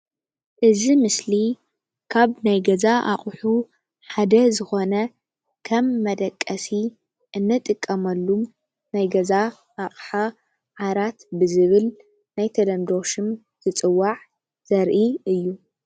እዚ ምስሊ ካብ ናይ ገዛ ኣቑሑ ሓደ ዝኾነ ከም መደቀሲ እንጥቀመሉ ናይ ገዛ ኣቑሓ ዓራት ብዝብል ናይ ተለምዶ ሹም ዝፅዋዕ ዘርኢ እዩ ።